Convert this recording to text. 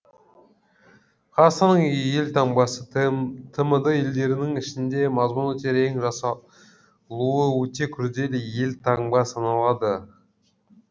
қазақстанның елтаңбасы тмд елдерінің ішінде мазмұны терең жасалуы өте күрделі елтаңба саналады